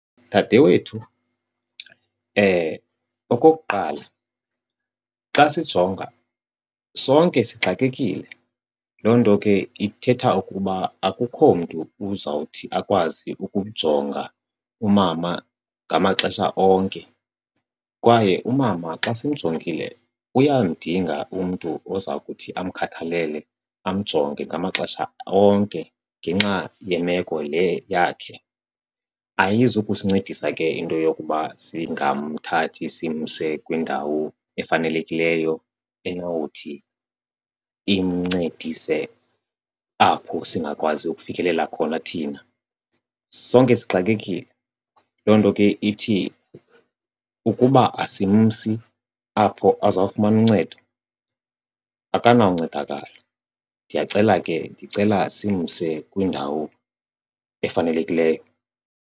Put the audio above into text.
Dade wethu, okokuqala xa sijonga sonke sixakekile. Loo nto ke ithetha ukuba akukho mntu uzawuthi akwazi ukujonga umama ngamaxesha onke. Kwaye umama xa simjongile uyamdinga umntu oza kuthi amkhathalele amjonge ngamaxesha onke ngenxa yemeko le yakhe. Ayizukusincedisa ke into yokuba singamthathi simse kwindawo efanelekileyo enowuthi imncedise apho singakwazi ukufikelela khona thina. Sonke sixakekile, loo nto ke ithi ukuba asimsi apho azawufumana uncedo akanawuncedakala. Ndiyacela ke, ndicela simse kwindawo efanelekileyo.